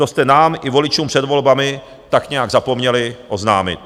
To jste nám i voličům před volbami tak nějak zapomněli oznámit.